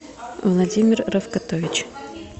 владимир равкатович